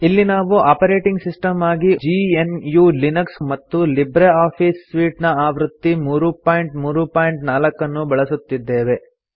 ಇಲ್ಲಿ ನಾವು operating system ಆಗಿ ಜಿಎನ್ಯು ಲಿನಕ್ಸ್ ಮತ್ತು ಲಿಬ್ರೆ ಆಫೀಸ್ ಸೂಟ್ ಆವೃತ್ತಿ 334 ಅನ್ನು ಬಳಸುತ್ತಿದ್ದೇವೆ